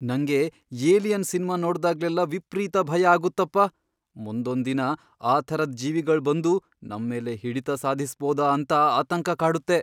ನಂಗೆ "alien" cinema ನೋಡ್ದಾಗ್ಲೆಲ್ಲಾ ವಿಪ್ರೀತ ಭಯ ಆಗುತ್ತಪ್ಪ, ಮುಂದೊಂದ್ ದಿನ ಆ ಥರದ್ ಜೀವಿಗಳ್ ಬಂದು ನಮ್ ಮೇಲೆ ಹಿಡಿತ ಸಾಧಿಸ್ಬೋದಾ ಅಂತ ಆತಂಕ ಕಾಡುತ್ತೆ.